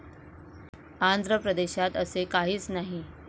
आंध्र प्रदेशात असे काहीच नाही.